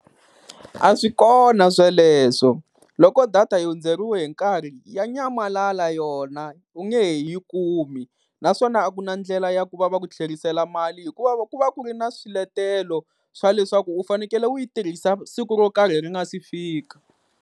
A swi kona sweleswo, loko data yi hundzeriwe hi nkarhi ya nyamalala yona u nge he yi kumi. Naswona a ku na ndlela ya ku va va ku tlherisela mali hikuva ku va ku ri na swiletelo swa leswaku u fanekele u yi tirhisa siku ro karhi ri nga si fika.